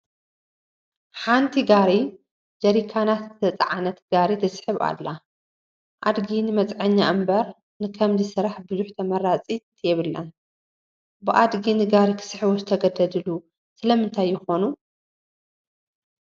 ሓንቲ ጋሪ ጀሪካናት ዝተፃዕነት ጋሪ ትስሕብ ኣላ፡፡ ኣድጊ ንመፅዓኛ እምበር ንከምዚ ስራሕ ብዙሕ ተመራፅት የብላን፡፡ ብኣድጊ ንጋሪ ክስሕቡ ዝተገደዱ ስለምንታይ ይኾን?